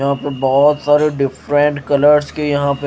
यहां पे बहुत सारे डिफरेंट कलर्स के यहां पे--